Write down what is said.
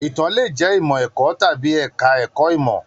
Itàn le jẹ ìmọ ẹ̀kọ́ tàbí ẹka ẹ̀kọ́ ìmọ.